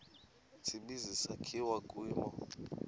tsibizi sakhiwa kwimo